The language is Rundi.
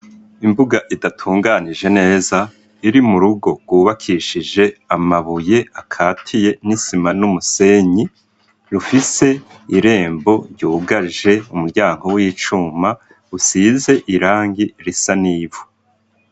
Imbuga idatunganije neza iri mu rugo rwubakishije amabuye akatiye n'isima n'umusenyi rufise irembo ryugaje umuryango w'icuma usize irangi risa n'ivu.